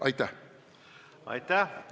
Aitäh!